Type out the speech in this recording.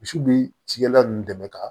Misi bi cikɛlan nunnu dɛmɛ ka